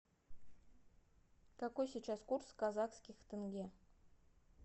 какой сейчас курс казахских тенге